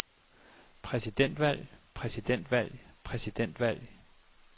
præsidentvalg præsidentvalg præsidentvalg